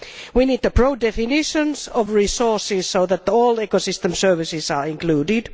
We need broad definitions of resources so that all ecosystem services are included.